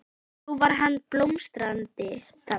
Þó var hann ekki blómstrandi þá.